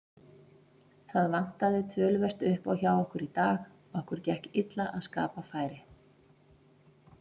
Það vantaði töluvert uppá hjá okkur í dag, okkur gekk illa að skapa færi.